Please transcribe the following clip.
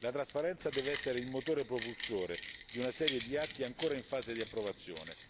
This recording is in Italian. La trasparenza deve essere il motore propulsore di una serie di atti ancora in fase di approvazione.